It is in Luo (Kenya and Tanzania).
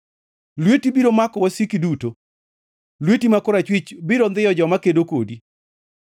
Lweti biro mako wasiki duto; lweti ma korachwich biro ndhiyo joma kedo kodi.